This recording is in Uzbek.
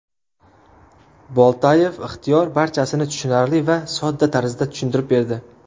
Boltayev Ixtiyor barchasini tushunarli va sodda tarzda tushuntirib berdi.